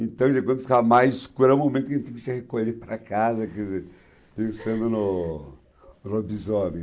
Então, por exemplo, quando fica mais escuro, é o momento que a gente tem que se recolher para casa, quer dizer, pensando no no lobisomem.